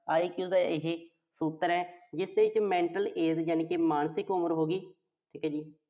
IQ ਦਾ ਇਹੇ ਖੇਤਰ ਆ, ਜਿਸਦੇ ਵਿੱਚ mental age ਯਾਨੀ ਕਿ ਮਾਨਸਿਕ ਉਮਰ